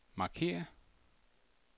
markér